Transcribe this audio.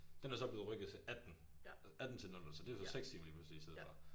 Den er så blevet rykket til 18 18 til 00 så det jo så 6 timer lige pludselig i stedet for